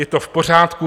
Je to v pořádku.